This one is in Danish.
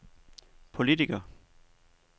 politiker